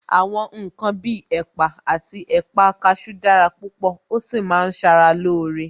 Àwọn ǹkan bí ẹ̀pà àti ẹ̀pà kasú dára púpò, ó sì máa ń sara loore